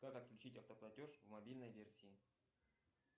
как отключить автоплатеж в мобильной версии